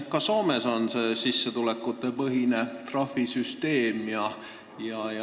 Ka Soomes on sissetulekutepõhine trahvisüsteem.